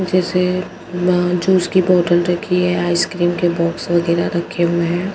जैसे वहाँ जूस उसकी बोतल रखी है। आइसक्रीम के बॉक्स वगैरह रखे हुए हैं।